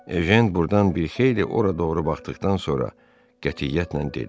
Ejən buradan bir xeyli ora doğru baxdıqdan sonra qətiyyətlə dedi: